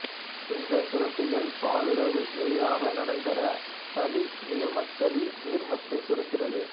இந்தச் சுரப்பிகள் பாலுறவு எளிதாக நடந்தேற சளி நீர்மம்சளி நீர்மத்தை சுரக்கிறது